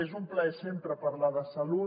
és un plaer sempre parlar de salut